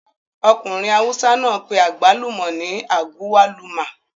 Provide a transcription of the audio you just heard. Ọkùnrin awùsá náà pé àgbálùmọ̀ ní agwaluma